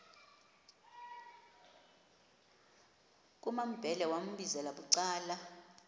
kumambhele wambizela bucala